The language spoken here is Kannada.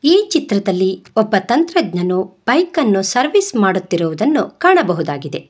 ಈ ಚಿತ್ರದಲ್ಲಿ ಒಬ್ಬ ತಂತ್ರಜ್ಞನು ಬೈಕ್ ಅನ್ನು ಸರ್ವಿಸ್ ಮಾಡುತ್ತಿರುವುದನ್ನು ಕಾಣಬಹುದಾಗಿದೆ.